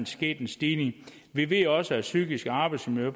sket en stigning vi ved også at psykiske arbejdsmiljø